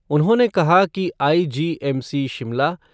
उन्होंने कहा कि आईजीएमसी शिमला